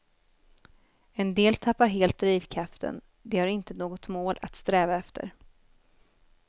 En del tappar helt drivkraften, de har inte något mål att sträva efter.